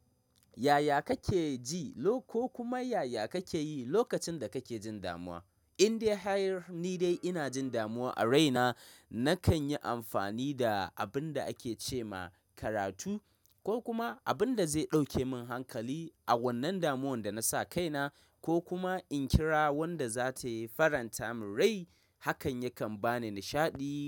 Yaya kake ji ko kuma yaya kake yi lokacin da kake jin damuwa? In dai hanyar ni dai ina jin damuwa a rai na, nakan yi amfani da abun da ake ce ma karatu ko kuma abun da zai ɗauke min hankali a wannan damuwar da nasa kaina ko kuma in kira wadda za ta faranta min rai hakan yakan ba ni nishaɗi.